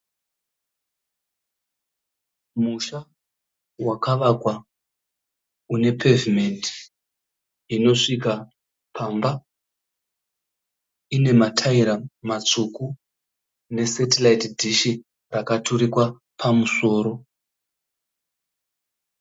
Musha wakavakwa une pevhimende inosvika pamba, ine mataira matsvuku nesetiraiti dishi rakaturikwa pamusoro.